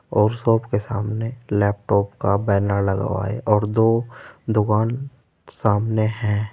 और शॉप के सामने लैपटॉप का बैनर लगा हुआ है और दो दुकान सामने है।